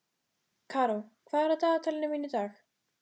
Karó, hvað er á dagatalinu mínu í dag?